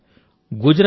మిత్రులారా